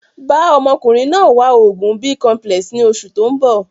Bàa ọmọkùnrin náà wá oògùn Bicomplex ni oṣù tóun bọ̀